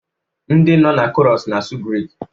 Ndị nọ na Chorus na-asụ Grik